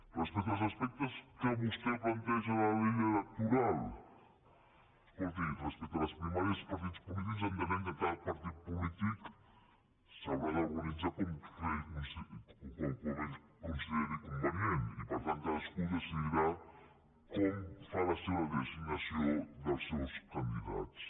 respecte als aspectes que vostè planteja de la llei electoral escolti respecte a les primàries dels partits polítics entenem que cada partit polític s’haurà d’organitzar com consideri convenient i per tant cadascú decidirà com fa la designació dels seus candidats